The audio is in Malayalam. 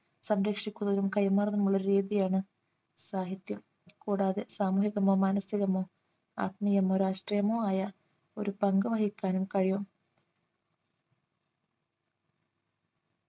സംരക്ഷിക്കുന്നതിനും കൈമാറുന്നതിനുമുള്ള രീതിയാണ് സാഹിത്യം കൂടാതെ സാമൂഹികമോ മാനസികമോ ആത്മീയമോ രാഷ്ട്രീയമോ ആയ ഒരു പങ്ക് വഹിക്കാനും കഴിയും